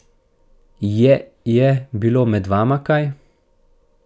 Je je bilo med vama kaj?